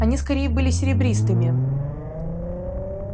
они скорее были серебристыми